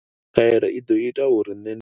Khaelo i ḓo ita uri nṋe ndi